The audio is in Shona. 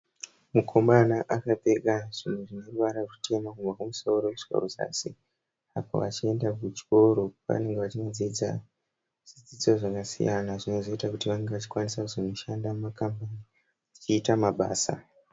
Mukomana akapfeka zvinhu zvine ruvara rutema kubva kumusoro kusvika kuzasi achienda kuchikoro. Pane vari kudzidza zvidzidzo zvasiyana zvinozoita kuti vange kwanisa kuzonoshanda mumakambani vachiita mabasa.